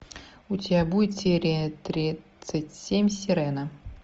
у тебя будет серия тридцать семь сирена